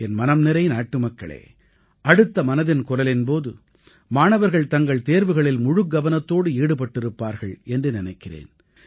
என் மனம்நிறை நாட்டுமக்களே அடுத்த மனதின் குரலின் போது மாணவர்கள் தங்கள் தேர்வுகளில் முழுகவனத்தோடு ஈடுபட்டிருப்பார்கள் என்று நினைக்கிறேன்